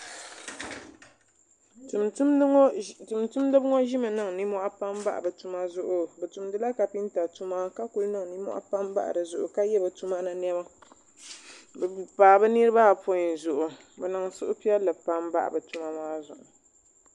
tumtumdiba ŋɔ ʒimi niŋ nimmohi pam bahi bi tuma zuɣu bi tumdila kapinta tuma ka ku niŋ nimmohi pam bahi dizuɣu ka yɛ bi tuma ni niɛma bi paai bi niraba apɔin zuɣu bi niŋ suhupiɛlli pam bahi bi tuma maa zuɣu